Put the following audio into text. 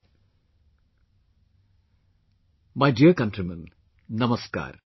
My dear countrymen, Namaskar